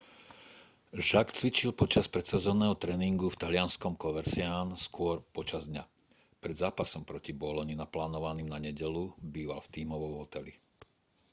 jarque cvičil počas predsezónneho tréningu v talianskom coverciane skôr počas dňa pred zápasom proti boloni naplánovaným na nedeľu býval v tímovom hoteli